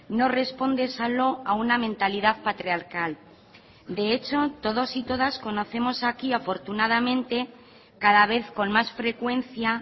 no responde solo a una mentalidad patriarcal de hecho todos y todasconocemos aquí afortunadamente cada vez con más frecuencia